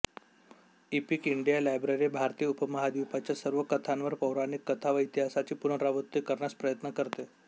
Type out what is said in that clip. epic India library भारतीय उपमहाद्वीपच्या सर्व कथांवर पौराणिक कथा व इतिहासाची पुनरावृत्ती करण्यास प्रयत्न करते